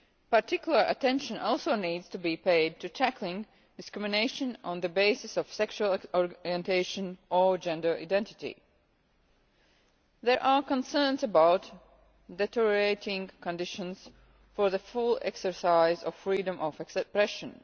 Particular attention also needs to be paid to tackling discrimination on the basis of sexual orientation or gender identity. There are concerns about deteriorating conditions for the full exercise of freedom of expression.